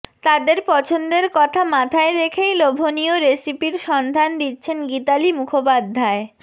তাদের পছন্দের কথা মাথায় রেখেই লোভনীয় রেসিপির সন্ধান দিচ্ছেন গীতালি মুখোপাধ্যায়